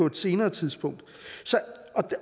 et senere tidspunkt